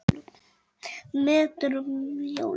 Ekkert veit ég.